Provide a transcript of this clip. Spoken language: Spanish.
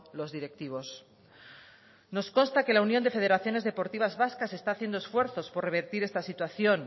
los directivos nos consta que la unión de federaciones deportivas vascas está haciendo esfuerzos por revertir esta situación